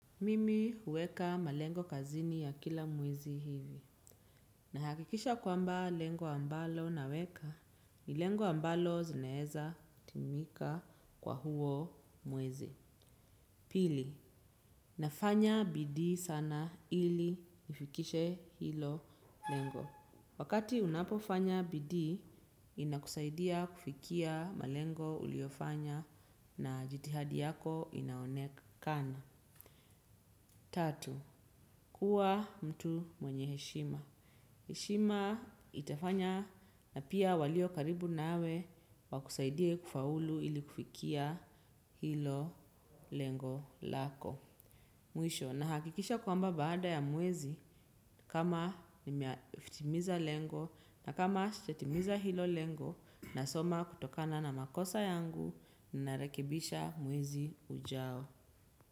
Mimi huweka malengo kazini ya kila mwezi hivi. Nahakikisha kwamba lengo ambalo naweka, ni lengo ambalo zinaeza timika kwa huo mwezi. Pili, nafanya bidii sana ili nifikishe hilo lengo. Wakati unapofanya bidii, inakusaidia kufikia malengo uliofanya na jithadi yako inaonekana. Tatu, kuwa mtu mwenye heshima. Heshima itafanya na pia walio karibu nawe wakusaidie kufaulu ili kufikia hilo lengo lako. Mwisho, nahakikisha kwamba baada ya mwezi kama nimeyatimiza lengo na kama sijatimiza hilo lengo nasoma kutokana na makosa yangu, narekebisha mwezi ujao.